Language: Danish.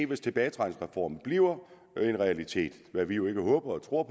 hvis tilbagetrækningsreformen bliver en realitet hvad vi jo ikke håber og tror